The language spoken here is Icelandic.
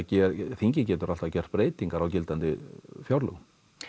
þingið getur alltaf gert breytingar á gildandi fjárlögum